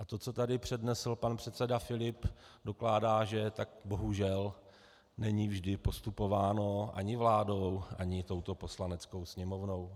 A to, co tady přednesl pan předseda Filip dokládá, že tak bohužel není vždy postupováno ani vládou, ani touto Poslaneckou sněmovnou.